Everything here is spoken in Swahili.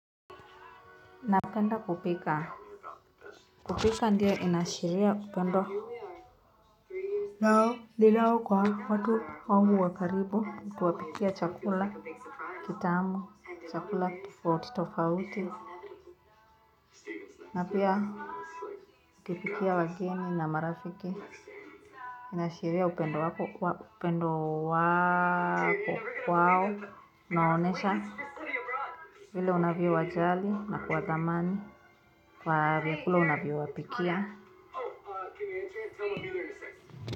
Napenda kupika, kupika ndio inaashiria upendo ninao kwa watu wangu wa karibu, tuwapikia chakula, kitamu, chakula tofauti tofauti na pia ukipikia wageni na marafiki inaashiria upendo wako, upendo wako kwao, unaonesha vile unavyowajali na kuwathamani kwa vyakula unavyowapikia.